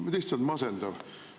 No lihtsalt masendav.